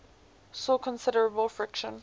saw considerable friction